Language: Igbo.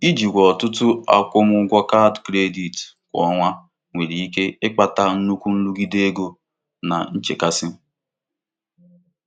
Ijikwa ọtụtụ Akwụmụgwọ kaadị kredit kwa ọnwa nwere ike ịkpata nnukwu nrụgide ego na nchekasị.